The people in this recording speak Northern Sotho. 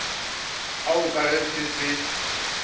ao ka ge se se